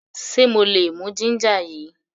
Ṣe mo lè mú ginger yìí?